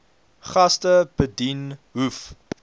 gaste bedien hoef